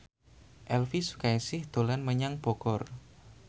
Elvy Sukaesih dolan menyang Bogor